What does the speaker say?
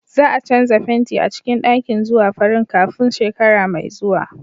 Za a canza fenti a cikin ɗakin zuwa farin kafin shekara mai zuwa.